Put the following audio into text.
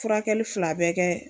Furakɛli fila bɛɛ kɛ